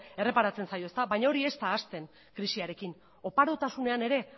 erreparatzen zaio baina hori ez da hasten krisiarekin oparotasunean ere